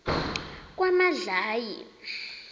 kwamadlayi